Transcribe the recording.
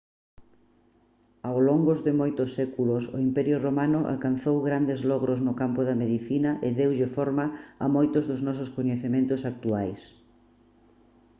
ao longos de moitos séculos o imperio romano alcanzou grandes logros no campo da medicina e deulle forma a moitos dos nosos coñecementos actuais